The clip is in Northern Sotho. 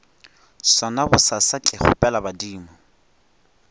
sona bosasa ke kgopela badimo